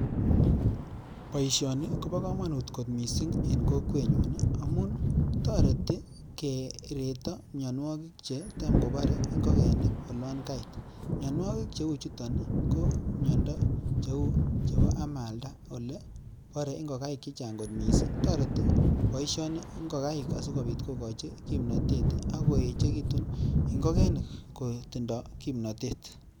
boishoni kopo komonut kot missing en kokwenyun amun toretiii kireto mionwokik chetam kobore ingo'keni olon kait mionwokik che uchuton ko miondo cheu amalda chetam kobore ing'okaik chechang missing toreti boishoni ing'okaik asikobit kokochi kimnatet ak koechekitun ing'okenik koek tindo kimnatet